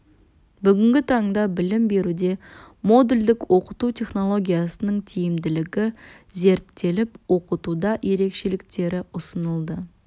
бүгінгі таңда білім беруде модульдік оқыту технологиясының тиімділігі зерттеліп оқытуда ерекшеліктері ұсынылды